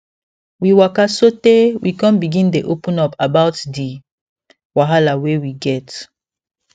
we waka sote we con begin dey open up about d wahala wey we get